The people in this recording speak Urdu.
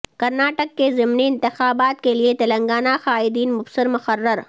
کرناٹک کے ضمنی انتخابات کیلئے تلنگانہ قائدین مبصر مقرر